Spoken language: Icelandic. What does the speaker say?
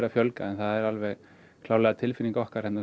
að fjölga en það er alveg klárlega tilfinning okkar